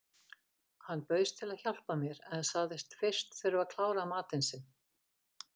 Hann bauðst til að hjálpa mér en sagðist fyrst þurfa að klára matinn sinn.